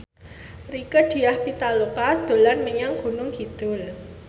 Rieke Diah Pitaloka dolan menyang Gunung Kidul